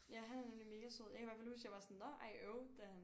Ja han er nemlig mega sød jeg kan i hvert fald huske at jeg var sådan nå ej øv da han